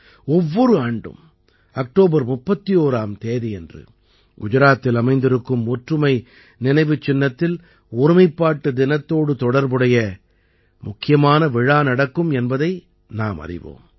ஒவ்வொரு ஆண்டும் அக்டோபர் 31ஆம் தேதியன்று குஜராத்தில் அமைந்திருக்கும் ஒற்றுமை நினைவுச் சின்னத்தில் ஒருமைப்பாட்டு தினத்தோடு தொடர்புடைய முக்கியமான விழா நடக்கும் என்பதை நாமறிவோம்